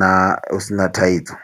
na, husina thaidzo.